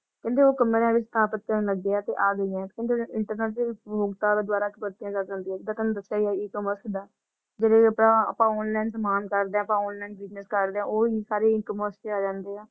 ਕਹਿੰਦੇ ਉਹ ਵੀ ਸਥਾਪਿਤ ਕਰਨ ਲੱਗੇ ਹਾ ਤੇ ਅਗਾਯੀ ਹੈ internet ਦੇ ਉਪਭੋਗਤਾ ਦੇ ਦੁਵਾਰਾ ਜਾ ਸਕਦੀ ਹੈ । ਥੁਹਾਨੂੰ ਦੱਸਿਆ ਹੀ ਹੈ e-commerce ਦਾ ਜੇੜੇ ਅੱਪਅੱਪਾ online ਸਮਾਨ ਕਰਦੇ ਹਾ ਅੱਪਾ online business ਕਰਦੇ ਹਾ ਉਹ ਵੀ ਸਾਰੇ e-commerce ਆ ਜਾਂਦੇ ਹਾ